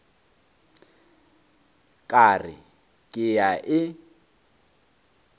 ka re ke a e